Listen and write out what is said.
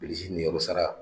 Bilisi niyɔrɔ sara